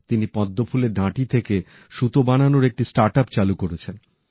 তিনি পদ্মফুলের ডাটি থেকে সুতো বানানোর একটি নতুন উদ্যোগ চালু করেছেন